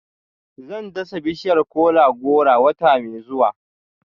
Zan dasa bishiyar kola-goro wata mai zuwa